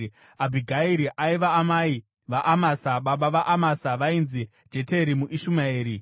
Abhigairi aiva amai vaAmasa, baba vaAmasa vainzi Jeteri muIshumaeri.